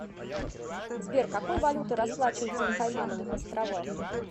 сбер какой валютой расплачиваются на каймановых островах